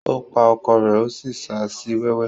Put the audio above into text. Ó pa ọkọ rẹ̀ ó sì ṣa sí wẹ́wẹ́.